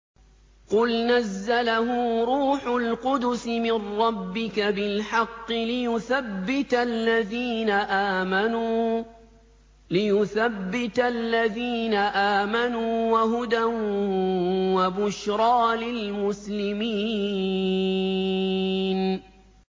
قُلْ نَزَّلَهُ رُوحُ الْقُدُسِ مِن رَّبِّكَ بِالْحَقِّ لِيُثَبِّتَ الَّذِينَ آمَنُوا وَهُدًى وَبُشْرَىٰ لِلْمُسْلِمِينَ